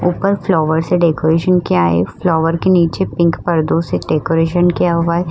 ऊपर फ्लावर से डेकोरेशन किया है। फ्लावर के नीचे पिंक पर्दों से डेकोरेशन किया हुआ है।